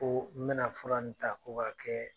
Koo n bɛna fura nin ta ko k'a kɛɛ